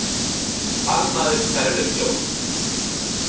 Sparnaður hverfur fljótt